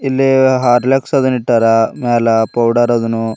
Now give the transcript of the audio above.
ಇಲ್ಲೇ ಹಾರ್ಲಿಕ್ಸ್ ಅದನ್ ಇಟ್ಟಾರಾ ಮ್ಯಾಲ ಪೌಡರ್ ಅದನು.